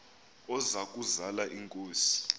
oza kuzal inkosi